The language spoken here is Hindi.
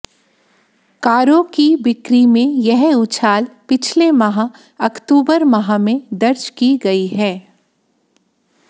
कारों की बिक्री में यह उछाल पिछले माह अक्टूबर माह में दर्ज की गई है